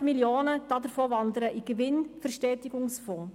Davon wandern 25 Mio. Franken in den Gewinnverstetigungsfonds.